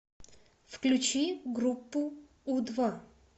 включи группу у два